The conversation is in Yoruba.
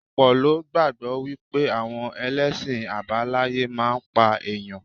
Ọ̀pọ̀ ló gbàgbọ́ wípé àwọn ẹlẹ́sìn àbáláyé máa ń pa ẹ̀yàn.